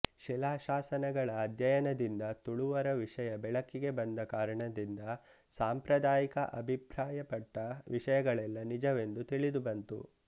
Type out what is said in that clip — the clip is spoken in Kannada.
ಶಿಲಾ ಶಾಸನಗಳ ಅಧ್ಯಯನದಿಂದ ತುಳುವರ ವಿಷಯ ಬೆಳಕಿಗೆ ಬಂದ ಕಾರಣದಿಂದ ಸಾಂಪ್ರದಾಯಿಕ ಅಭಿಪ್ರಾಯಪಟ್ಟ ವಿಷಯಗಳೆಲ್ಲಾ ನಿಜವೆಂದು ತಿಳಿದು ಬಂತು